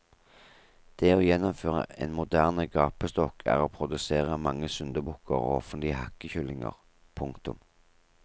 Det å gjennomføre en moderne gapestokk er å produsere mange syndebukker og offentlige hakkekyllinger. punktum